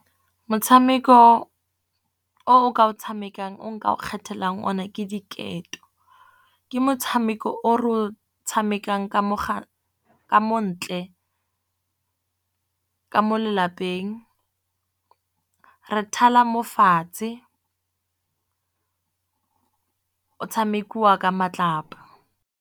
Motshameko oo ka o tshamekang o nka o kgethelang o ne ke diketo, ke motshameko o re o tshamekang ka mo ntle ka mo lelapeng re thala mo fatshe o tshamekiwa ka matlapa.